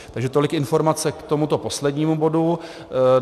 Takže tolik informace k tomuto poslednímu bodu.